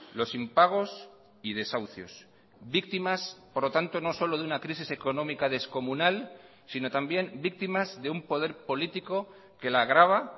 los impagos y desahucios víctimas por lo tanto no solo de una crisis económica descomunal sino también víctimas de un poder político que la agrava